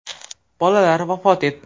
Bolalar vafot etdi.